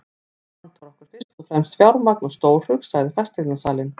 Hér vantar okkur fyrst og fremst fjármagn og stórhug, sagði fasteignasalinn.